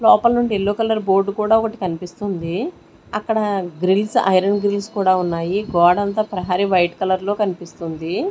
లోపల నుండి yellow colour board కూడా ఒకటి కన్పిస్తుంది అక్కడ గ్రిల్స్ ఐరన్ గ్రిల్స్ కూడా ఉన్నాయి గోడంత ప్రహరీ వైట్ కలర్ లో కన్పిస్తుంది.